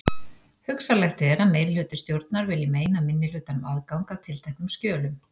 Hugsanlegt er að meirihluti stjórnar vilji meina minnihlutanum aðgang að tilteknum skjölum.